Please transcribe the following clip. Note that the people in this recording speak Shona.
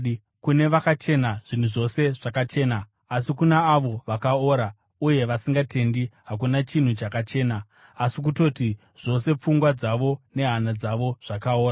Kune vakachena, zvinhu zvose zvakachena, asi kuna avo vakaora uye vasingatendi, hakuna chinhu chakachena. Asi kutoti zvose pfungwa dzavo nehana dzavo zvakaora.